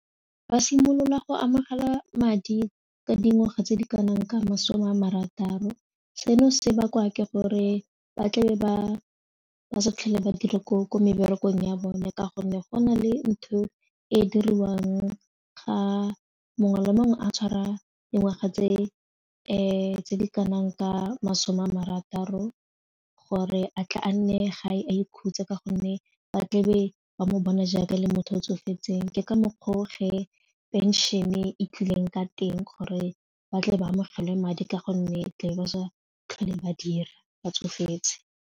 Ba simolola go amogela madi ka dingwaga tse di kanang ka masome a marataro seno se bakwa ke gore ba tlabe ba sa fitlhele ba dire ko ko meberekong ya bone ka gonne go na le ntho e diriwang ga mongwe le mongwe a tshwara dingwaga tse di kanang ka masome a marataro gore a tla a nne ga e a ikhutsa ka gonne ba tlebe ba mo bona jaaka le motho o tsofetseng ke ka mokgwa o ge pension-e e tlileng ka teng gore batle ba amogelwe madi ka gonne ba sa tlhole ba dira ba tsofetse.